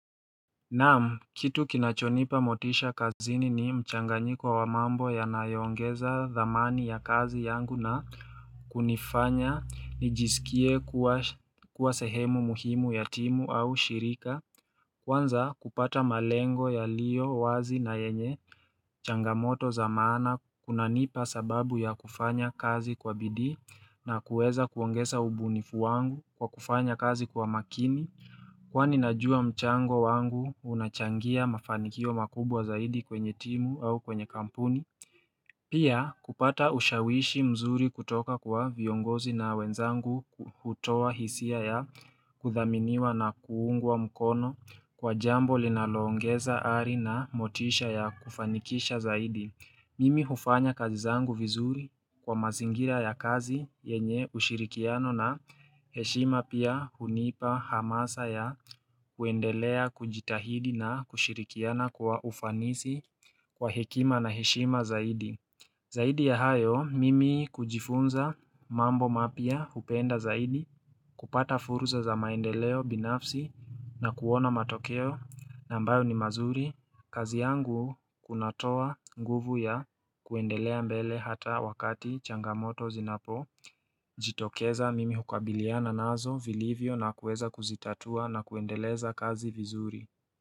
Naam kitu kinachonipa motisha kazini ni mchanganyiko wa mambo yanayongeza dhamani ya kazi yangu na kunifanya nijisikie kuwa sehemu muhimu ya timu au shirika Kwanza kupata malengo yaliyo wazi na yenye changamoto za maana kunanipa sababu ya kufanya kazi kwa bidii na kuweza kuongesa ubunifu wangu kwa kufanya kazi kwa makini Kwa najua mchango wangu unachangia mafanikio makubwa zaidi kwenye timu au kwenye kampuni Pia kupata ushawishi mzuri kutoka kwa viongozi na wenzangu hutoa hisia ya kudhaminiwa na kuungwa mkono Kwa jambo linaloongeza ari na motisha ya kufanikisha zaidi Mimi hufanya kazi zangu vizuri kwa mazingira ya kazi yenye ushirikiano na heshima pia hunipa hamasa ya kuendelea kujitahidi na kushirikiana kwa ufanisi kwa hekima na heshima zaidi. Zaidi ya hayo, mimi kujifunza mambo mapya hupenda zaidi kupata fursa za maendeleo binafsi na kuona matokeo nambayo ni mazuri. Kazi yangu kunatoa nguvu ya kuendelea mbele hata wakati changamoto zinapo jitokeza mimi hukabiliana nazo vilivyo na kuweza kuzitatua na kuendeleza kazi vizuri.